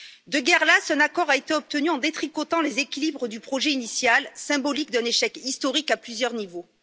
De guerre lasse, un accord a été obtenu en détricotant les équilibres du projet initial, symbolique d'un échec historique à plusieurs niveaux.